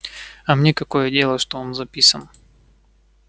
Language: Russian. а мне какое дело что он записан